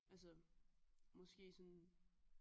Altså måske sådan